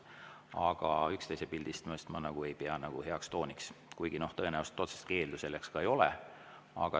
Aga üksteise pildistamist ma ei pea heaks tooniks, kuigi tõenäoliselt otsest keeldu selleks ei ole.